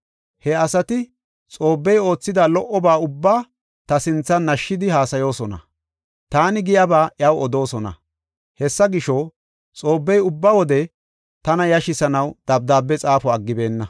He asati Xoobbey oothida lo77oba ubbaa ta sinthan nashidi haasayoosona; taani giyaba iyaw odoosona. Hessa gisho, Xoobbey ubba wode tana yashisanaw dabdaabe xaafo aggibeenna.